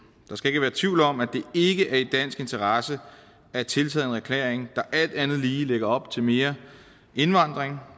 der skal ikke være tvivl om at det ikke er i dansk interesse at tiltræde en erklæring der alt andet lige lægger op til mere indvandring